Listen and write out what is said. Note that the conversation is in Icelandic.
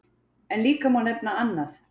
En líka má nefna annað.